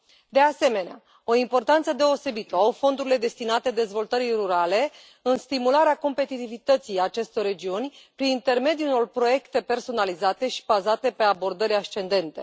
De asemenea, o importanță deosebită o au fondurile destinate dezvoltării rurale în stimularea competitivității acestor regiuni, prin intermediul unor proiecte personalizate și bazate pe abordări ascendente.